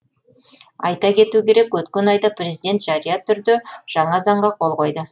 айта кету керек өткен айда президент жария түрде жаңа заңға қол қойды